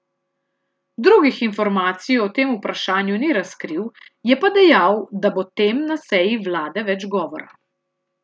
Drugih informacij o tem vprašanju ni razkril, je pa dejal, da bo tem na seji vlade več govora.